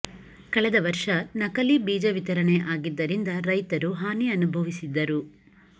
ಕಳೆದ ವರ್ಷ ನಕಲಿ ಬೀಜ ವಿತರಣೆ ಆಗಿದ್ದರಿಂದ ರೈತರು ಹಾನಿ ಅನುಭವಿಸಿದ್ದರು